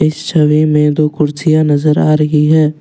इस छवि में दो कुर्सियां नजर आ रही है।